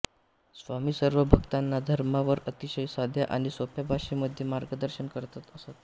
स्वामीं सर्व भक्तांना धर्मावर अतिशय साध्या आणि सोप्या भाषेमध्ये मार्गदर्शन करत असे